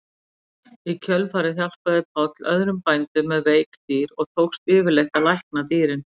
Í kjölfarið hjálpaði Páll öðrum bændum með veik dýr og tókst yfirleitt að lækna dýrin.